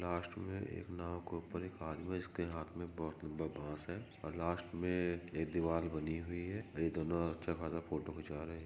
last में एक नाव के ऊपर एक आदमी है जिसके हाथ में एक बहुत लंबा बास है और लास्ट में एक दीवार बनी हुई है यह दोनों अच्छा खासा फोटो खिंचा रहे--